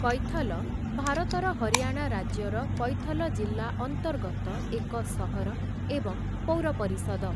କୈଥଲ, ଭାରତର ହରିୟାଣା ରାଜ୍ୟର କୈଥଲ ଜିଲ୍ଲା ଅନ୍ତର୍ଗତ ଏକ ସହର ଏବଂ ପୌର ପରିଷଦ ।